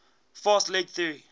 fast leg theory